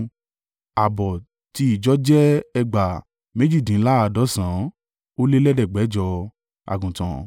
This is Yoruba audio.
Ààbọ̀ tí ìjọ jẹ́ ẹgbàá méjìdínláàádọ́sàn-án ó lé lẹ̀ẹ́dẹ́gbẹ̀jọ (337,500) àgùntàn,